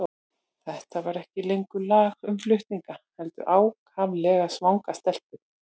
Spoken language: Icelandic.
Þetta var ekki lengur lag um flutninga, heldur ákaflega svanga stelpu.